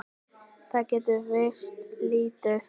Það getur virst lítið.